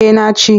Eh na ci.